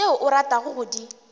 tšeo o ratago go di